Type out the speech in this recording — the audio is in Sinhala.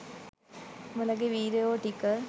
උඹලගෙ වීරයො ටික